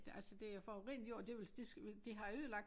Det altså det er forurenet jord og det vel det det har ødelagt